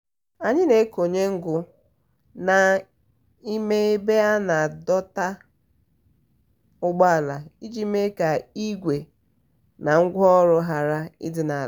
anyị na-ekonye ngụ n'ime ebe a na-adọta ụgbọala iji mee ka igwe na ngwaọrụ ghara ịdị n'ala.